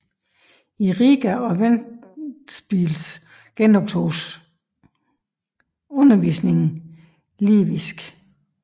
I Riga og Ventspils genoptoges undervisning i livisk